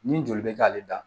Ni joli bɛ k'ale la